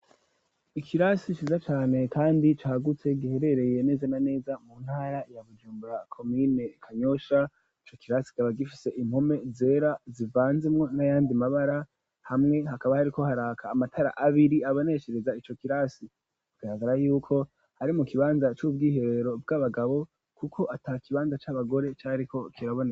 Ikirasi ciza cane kandi cagutse giherereye neze na neza mu ntara ya Bujumbura komine Kanyosha, ico kirasi kikaba gifise impome zera zivanzemwo n'ayandi mabara hamwe hakaba hariko haraka amatara abiri abaneshereza ico kirasi, bigaragara yuko ari mu kibanza c'ubwiherero bw'abagabo kuko ata kibanza c'abagore cariko kiraboneka.